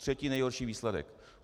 Třetí nejhorší výsledek.